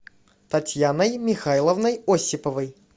татьяной михайловной осиповой